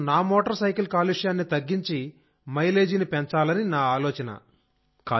కనీసం నా మోటార్సైకిల్ కాలుష్యాన్ని తగ్గించి మైలేజీని పెంచాలని నా ఆలోచన